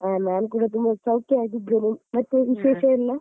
ಆ ನಾನು ಕೂಡ ತುಂಬಾ ಸೌಖ್ಯವಾಗಿದ್ದೇನೆ ಮತ್ತೆ ವಿಶೇಷ ಎಲ್ಲ.